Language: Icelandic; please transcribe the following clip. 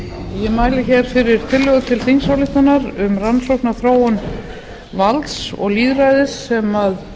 ég mæli fyrir tillögu til þingsályktunar um rannsókn á þróun valds og lýðræðis sem